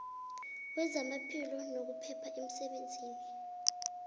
wezamaphilo nokuphepha emsebenzini